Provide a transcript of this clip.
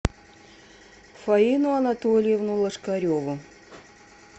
фаину анатольевну лошкареву